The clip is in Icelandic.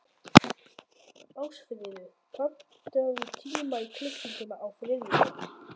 Ástfríður, pantaðu tíma í klippingu á þriðjudaginn.